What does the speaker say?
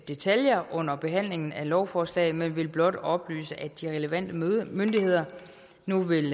detaljer under behandlingen af lovforslaget men vil blot oplyse at de relevante myndigheder nu vil